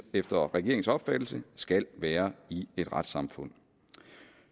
efter regeringens opfattelse skal være i et retssamfund